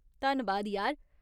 धन्नबाद यार।